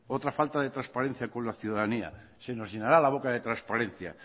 otra falta de transparencia con la ciudadanía se nos llenará la boca de transparencia